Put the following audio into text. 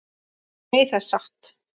Nei, það er satt.